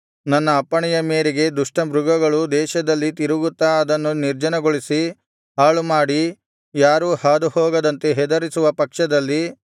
ನನ್ನ ಅಪ್ಪಣೆಯ ಮೇರೆಗೆ ದುಷ್ಟ ಮೃಗಗಳು ದೇಶದಲ್ಲಿ ತಿರುಗುತ್ತಾ ಅದನ್ನು ನಿರ್ಜನಗೊಳ್ಳಿಸಿ ಹಾಳುಮಾಡಿ ಯಾರೂ ಹಾದು ಹೋಗದಂತೆ ಹೆದರಿಸುವ ಪಕ್ಷದಲ್ಲಿ